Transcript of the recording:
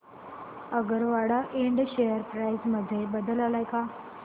Agarwal Ind share price मध्ये बदल आलाय का